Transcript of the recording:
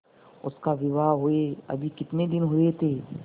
उसका विवाह हुए अभी कितने दिन हुए थे